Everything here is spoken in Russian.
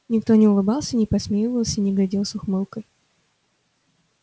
никто не улыбался не посмеивался не глядел с ухмылкой